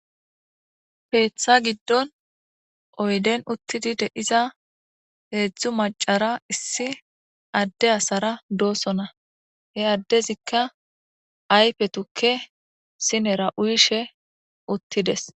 Keetha giidon oyiden uttidi deeza hedzdzu maachara issi adeyi asara doosona hi adezayika ayife tuuke sinera uyiishe uttides.